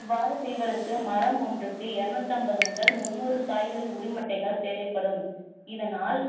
இவ்வாறு செய்வதற்கு மரம் ஒன்றுக்கு இருநூத்தைம்பது முதல் முந்நூறு காய்களின் உரிமட்டைகள் தேவைப்படும்